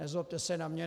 Nezlobte se na mě.